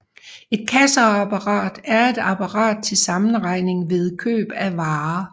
Et kasseapparat er et apparat til sammenregning ved køb af varer